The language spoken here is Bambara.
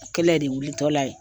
O Kɛlɛ de wulitɔla ye.